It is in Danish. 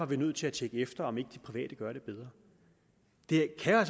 vi nødt til at tjekke efter om ikke de private gør det bedre det kan